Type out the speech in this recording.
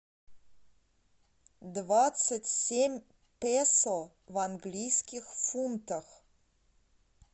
двадцать семь песо в английских фунтах